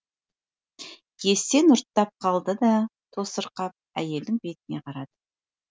есен ұрттап қалды да тосырқап әйелдің бетіне қарады